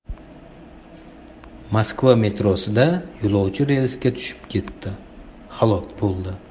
Moskva metrosida yo‘lovchi relsga tushib ketib, halok bo‘ldi.